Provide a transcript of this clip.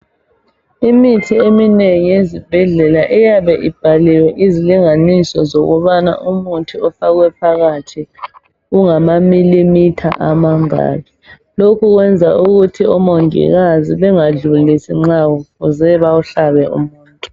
Imithi eminengi ezibhedlela iyabe ibhaliwe izilinganiso zokubana umuthi ofakwe phakhathi ungamamilimitha amangaki. Lokhu kwenza ukuthi omongikazi bengadlulisi nxa kufuze bawuhlabe umuntu.